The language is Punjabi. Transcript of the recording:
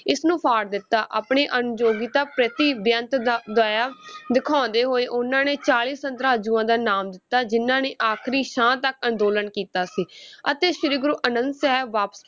ਇਸਨੂੰ ਫਾੜ ਦਿੱਤਾ, ਆਪਣੇ ਅਨਯੋਗਤਾ ਪ੍ਰਤੀ ਬੇਅੰਤ ਦਾ ਦਇਆ ਦਿਖਾਉਂਦੇ ਹੋਏ ਉਹਨਾਂ ਨੇ ਚਾਲੀ ਦਾ ਨਾਮ ਦਿੱਤਾ ਜਿਨ੍ਹਾਂ ਨੇ ਆਖਰੀ ਸਾਹ ਤੱਕ ਅੰਦੋਲਨ ਕੀਤਾ ਸੀ ਅਤੇ ਸ੍ਰੀ ਗੁਰੂ ਅਨੰਦ ਸਾਹਿਬ ਵਾ~